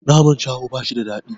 Naman shaho bashi da daɗi